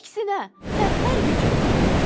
Əksinə, mən hər gecə oxuyuram.